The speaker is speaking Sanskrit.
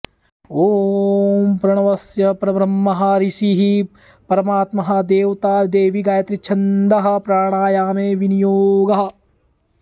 ॐ प्रणवस्य परब्रह्म ऋषिः परमात्मा देवता दैवी गायत्री छंदः प्राणायामे विनियोगः